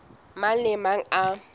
mang le a mang a